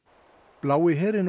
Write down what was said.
blái herinn og